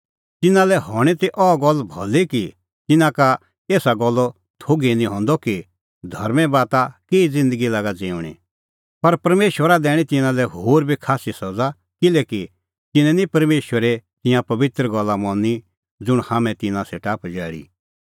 तिन्नां लै हणीं ती अह गल्ल भली कि तिन्नां का एसा गल्लो थोघ ई निं हंदअ कि धर्में बाता केही ज़िन्दगी लागा ज़िऊंणीं पर परमेशरा दैणीं तिन्नां लै होर बी खास्सी सज़ा किल्हैकि तिन्नैं निं परमेशरे तिंयां पबित्र गल्ला मनी ज़ुंण हाम्हैं तिन्नां सेटा पजैल़ी